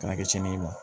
Kana kɛ cɛniyaa